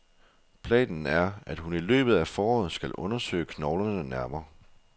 Planen er, at hun i løbet af foråret skal undersøge knoglerne nærmere.